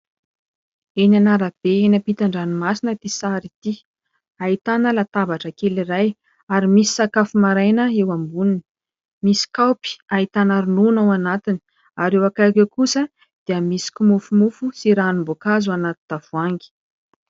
Eny an'arabe eny ampitan-dranomasina ity sary ity ; ahitana latabatra kely iray ary misy sakafo maraina eo amboniny, misy kaopy ahitana ronono ao anatiny ary eo akaiky eo kosa dia misy kimofomofo sy ranomboankazo ao anaty tavoahangy.